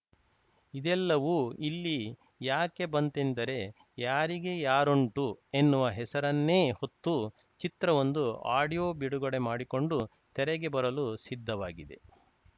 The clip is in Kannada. ಇದೆಲ್ಲವೂ ಇಲ್ಲಿ ಯಾಕೆ ಬಂತೆಂದರೆ ಯಾರಿಗೆ ಯಾರುಂಟು ಎನ್ನುವ ಹೆಸರನ್ನೇ ಹೊತ್ತು ಚಿತ್ರವೊಂದು ಆಡಿಯೋ ಬಿಡುಗಡೆ ಮಾಡಿಕೊಂಡು ತೆರೆಗೆ ಬರಲು ಸಿದ್ಧವಾಗಿದೆ